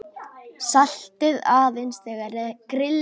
Saltið aðeins þegar grillað er.